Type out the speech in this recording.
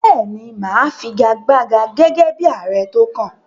Bẹ́ẹ̀ ni, mà á figagbága gẹ́gẹ́ ààrẹ tó kàn